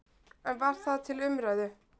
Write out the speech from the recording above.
En var það til umræðu?